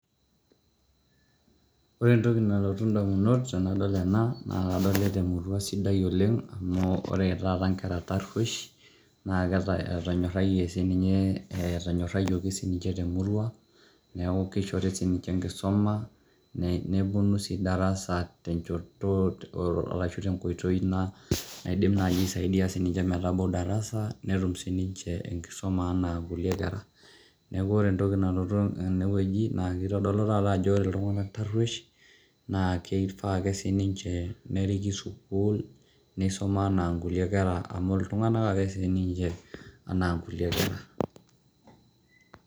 ore entoki nalotu damunot tenadol ena, naa kadolita emurua sidai oleng, amu ore taata nkera taruosh. naa etonyorayie sii ninye. etonyorayioki sii ninche temurua. neeku kishori sii ninche enkisuma. nepuonu sii darasa tenchoto arashu tenkoitoi naidim naaji aisaidia sii ninche metabau darasa, netum si ninche enkisuma anaa kulie kera. neeku ore entoki nanoto tene wueji naa kitodolu taata ajo ore iltunganak taruesh, naaa keifaa ake sii ninche neriki sukuul, neisuma naa nkulie kera amu iltunganak ake sii ninche anaa kulie kera.